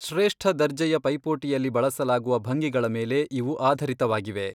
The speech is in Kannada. ಶ್ರೇಷ್ಠ ದರ್ಜೆಯ ಪೈಪೋಟಿಯಲ್ಲಿ ಬಳಸಲಾಗುವ ಭಂಗಿಗಳ ಮೇಲೆ ಇವು ಆಧರಿತವಾಗಿವೆ.